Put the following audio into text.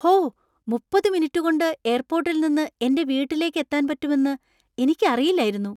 ഹോ! മുപ്പത് മിനിറ്റു കൊണ്ട് എയർപോർട്ടിൽ നിന്ന് എന്‍റെ വീട്ടിലേക്ക് എത്താൻ പറ്റുമെന്ന് എനിക്കറിയില്ലായിരുന്നു.